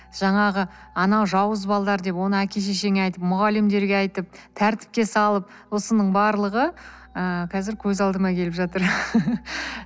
жаңағы анау жауыз балалар деп оны әке шешеңе айтып мұғалімдерге айтып тәртіпке салып осының барлығы ыыы қазір көз алдыма келіп жатыр